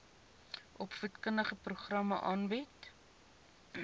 opvoedkundige programme aanbied